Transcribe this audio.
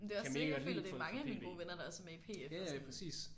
Det er også det. Jeg føler at det er mange af mine gode venner der også er med i PF og sådan